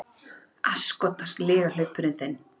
Asskotans lygalaupurinn þinn!